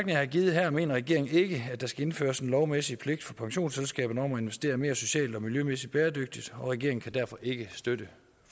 jeg har givet her mener regeringen ikke at der skal indføres en lovmæssig pligt for pensionsselskaberne om at investere mere socialt og miljømæssig bæredygtigt og regeringen kan derfor ikke støtte